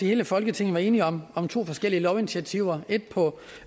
hele folketinget var enige om om to forskellige lovinitiativer et på